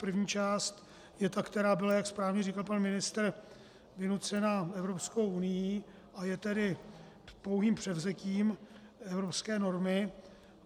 První část je ta, která byla, jak správně říkal pan ministr, vynucená Evropskou unií, a je tedy pouhým převzetím evropské normy.